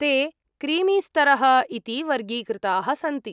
ते क्रीमीस्तरः इति वर्गीकृताः सन्ति।